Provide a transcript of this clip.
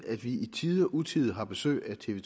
at vi i tide og utide har besøg af tv